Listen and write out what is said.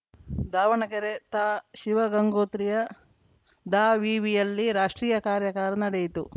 ದಾವಣಗೆರೆ ತಾ ಶಿವಗಂಗೋತ್ರಿಯ ದಾವಿವಿಯಲ್ಲಿ ರಾಷ್ಟ್ರೀಯ ಕಾರ್ಯಾಗಾರ ನಡೆಯಿತು